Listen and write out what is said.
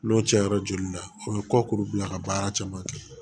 N'o cayara joli la o be kɔkuru bila ka baara caman kɛ